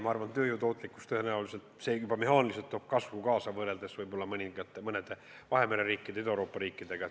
Ma arvan, et meie tööjõu tootlikkuse näitajad tõenäoliselt paranevad võrreldes võib-olla mõningate Vahemere ja Ida-Euroopa riikidega.